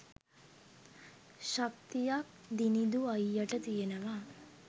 ශක්තියක් දිනිඳු අයියට තියෙනවා